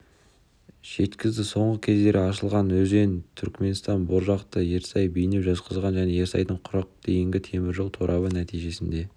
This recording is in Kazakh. жеткізді соңғы кездері ашылған өзен-түрікменстан боржақты-ерсай бейнеу-жезқазған және ерсайдан құрыққа дейінгі темір жол торабы нәтижесінде